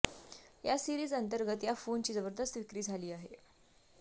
या सीरिज अंतर्गत या फोनची जबरदस्त विक्री झाली आहे